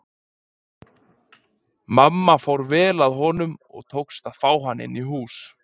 Mamma fór vel að honum og tókst að fá hann inn í hús.